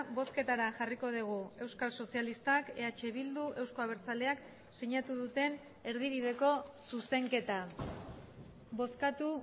bozketara jarriko dugu euskal sozialistak eh bildu euzko abertzaleak sinatu duten erdibideko zuzenketa bozkatu